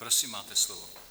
Prosím máte slovo.